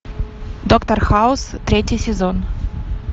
доктор хаус третий сезон